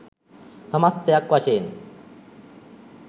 සමස්තයක් වශයෙන්